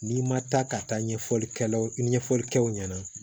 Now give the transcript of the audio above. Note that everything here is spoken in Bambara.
N'i ma taa ka taa ɲɛfɔli kɛ ɲɛfɔlikɛw ɲɛna